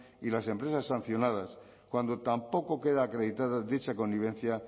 y las empresas sancionadas cuando tampoco queda acreditada dicha convivencia